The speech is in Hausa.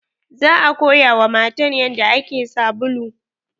Za a koya wa matan yanda ake sabulu